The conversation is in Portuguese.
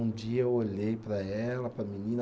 Um dia eu olhei para ela, para a menina.